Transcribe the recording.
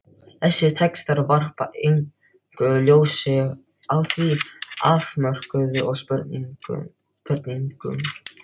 Þessir textar varpa engu ljósi á þá afmörkuðu spurningu.